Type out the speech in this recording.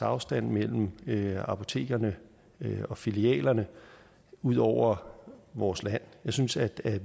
afstand mellem apotekerne og filialerne ud over vores land jeg synes at